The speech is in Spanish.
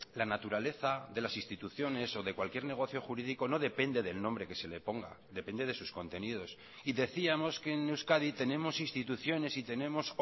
la naturaleza de las instituciones o de cualquier negocio jurídico no depende del nombre que se le ponga depende de sus contenidos y decíamos que en euskadi tenemos instituciones y tenemos